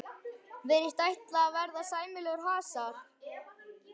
Virðist ætla að verða sæmilegur hasar.